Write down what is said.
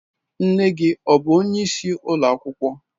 Nne gi ọ bu onye isi ụlọ akwụkwọ?